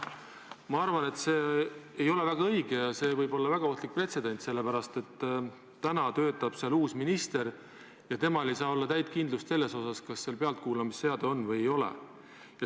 Ma arvan, et see ei ole väga õige ja see võib olla väga ohtlik pretsedent, sellepärast et täna töötab seal uus minister ja temal ei saa olla täit kindlust, kas seal pealtkuulamisseade on või ei ole.